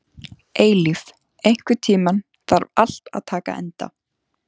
Eilíf, einhvern tímann þarf allt að taka enda.